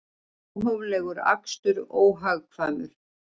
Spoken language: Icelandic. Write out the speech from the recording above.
Óhóflegur akstur óhagkvæmur